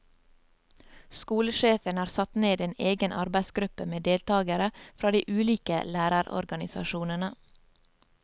Skolesjefen har satt ned en egen arbeidsgruppe med deltagere fra de ulike lærerorganisasjonene.